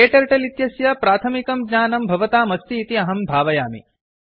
क्टर्टल इत्यस्य प्राथमिकं ज्ञानं भवताम् अस्ति इति अहं भावयामि